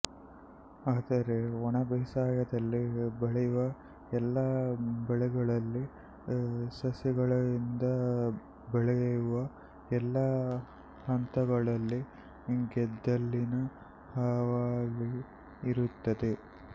ಆದರೆ ಒಣಬೇಸಾಯದಲ್ಲಿ ಬೆಳೆಯುವ ಎಲ್ಲಾ ಬೆಳೆಗಳಲ್ಲಿ ಸಸಿಗಳಿಂದ ಬೆಳೆಯುವ ಎಲ್ಲಾ ಹಂತಗಳಲ್ಲಿ ಗೆದ್ದಲಿನ ಹಾವಳಿ ಇರುತ್ತದೆ